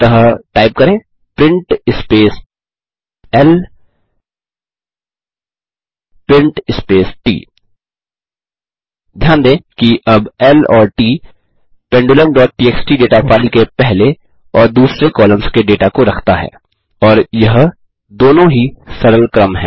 अतः टाइप करें print space ल प्रिंट स्पेस ट ध्यान दें कि अब ल और ट pendulumटीएक्सटी डेटा फाइल के पहले और दूसरे कॉलम्स के डेटा को रखता है और यह दोनों ही सरल क्रम हैं